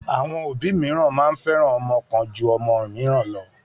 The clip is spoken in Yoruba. Àwọn òbí mìíràn máa ń fẹ́ràn ọmọ kan ju òmíràn lọ.